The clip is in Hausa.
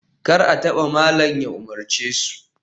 Kar a taba! malam ya umarce su